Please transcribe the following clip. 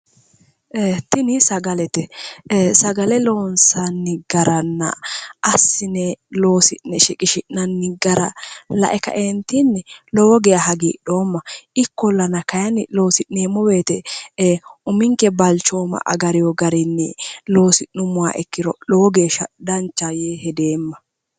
Ee'e tini sagalete sagale loonsanni garanna assine looi'ne shiqishi'nanni gara lae kaentinni lowo geeshsha hagiidhoomma ikkollanna kayinni loosi'neemmo woyte uminke balchooma agarino garinni loosi'nuummoha ikkiro lowo geeshsha danchaho yee hedeemma".